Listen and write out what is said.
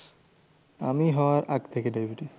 আমি হওয়ার আগ থেকে diabetes.